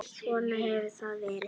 Svona hefur hann verið.